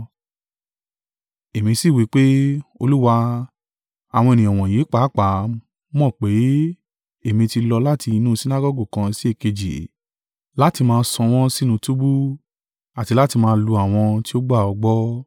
“Èmi sì wí pé, ‘Olúwa, àwọn ènìyàn wọ̀nyí pàápàá mọ̀ pé èmi ti lọ láti inú Sinagọgu kan sí èkejì láti máa sọ wọ́n sínú túbú àti láti máa lu àwọn tí ó gbà ọ́ gbọ́.